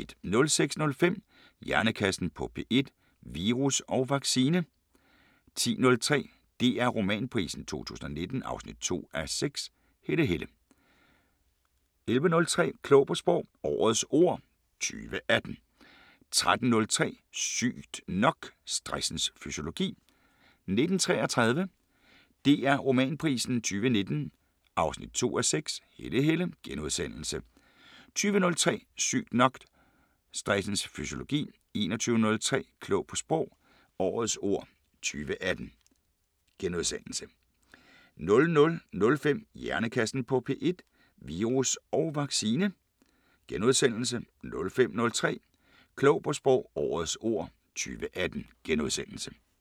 06:05: Hjernekassen på P1: Virus og vaccine 10:03: DR Romanprisen 2019 2:6 – Helle Helle 11:03: Klog på Sprog – Årets ord 2018 13:03: Sygt nok: Stressens fysiologi 19:33: DR Romanprisen 2019 2:6 – Helle Helle * 20:03: Sygt nok: Stressens fysiologi 21:03: Klog på Sprog – Årets ord 2018 * 00:05: Hjernekassen på P1: Virus og vaccine * 05:03: Klog på Sprog – Årets ord 2018 *